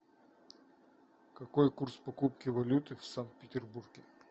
какой курс покупки валюты в санкт петербурге